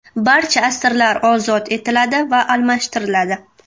Barcha asirlar ozod etiladi va almashtiriladi.